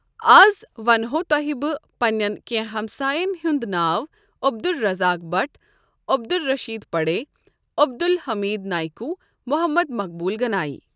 آز ونہو تۄہہِ بہٕ پننٮ۪ن کینٛہہ ہمساین ہُنٛد ناو عبدالرزاق بٹھ عبدالرشید پڑے عبدالحمید نایِکوٗ محمد مقبول گنایی۔